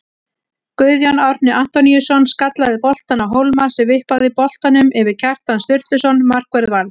Guðjón Árni Antoníusson skallaði boltann á Hólmar sem vippaði boltanum yfir Kjartan Sturluson markvörð Vals.